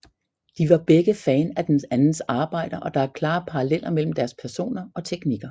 De var begge fan af den andens arbejder og der er klare paralleller mellem deres personer og teknikker